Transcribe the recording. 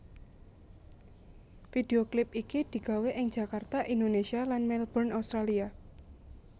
Video klip iki digawé ing Jakarta Indonesia lan Melbourne Australia